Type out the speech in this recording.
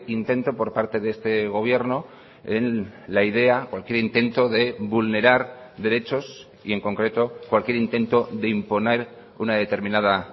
intento por parte de este gobierno en la idea cualquier intento de vulnerar derechos y en concreto cualquier intento de imponer una determinada